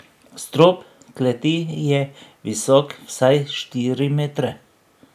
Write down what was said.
Strop kleti je visok vsaj štiri metre.